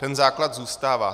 Ten základ zůstává.